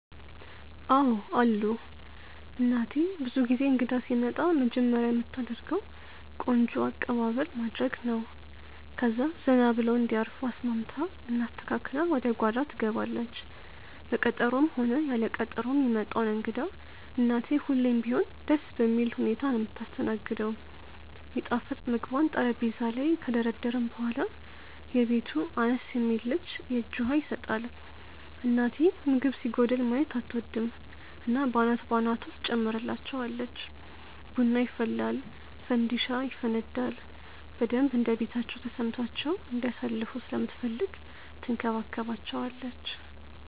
አዎ አሉ። እናቴ ብዙ ጊዜ እንግዳ ሲመጣ መጀመርያ ምታደርገው ቆንጆ አቅባበል ማድረግ ነው፣ ከዛ ዘና ብለው እንዲያርፉ አስማምታ እና አስተካክላ ወደ ጓዳ ትገባለች። በቀጠሮም ሆነ ያለ ቀጠሮ ሚመጣውን እንግዳ እናቴ ሁሌም ቢሆን ደስ በሚል ሁኔታ ነው ምታስተናግደው። ሚጣፍጥ ምግቧን ጠረጴዛ ላይ ከደረደርን በኋላ፣ የቤቱ አነስ የሚል ልጅ የእጅ ውሃ ይሰጣል። እናቴ ምግብ ሲጎድል ማየት አትወድም እና በአናት በአናቱ ትጨምርላቸዋለች። ቡና ይፈላል ፋንዲሻ ይፈነዳል፣ በደንብ እንደቤታቸው ተሰምቷቸው እንዲያሳልፉ ስለምትፈልግ ትንከባከባቸዋለች።